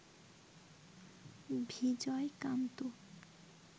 Vijay Kanth